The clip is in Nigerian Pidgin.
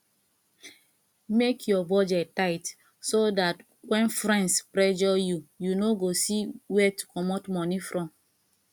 make your budget tight so dat when friends pressure you you no go see where to comot money from